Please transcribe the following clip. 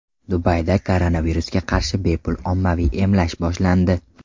Dubayda koronavirusga qarshi bepul ommaviy emlash boshlandi.